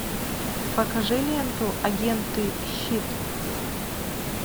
покажи ленту агенты щит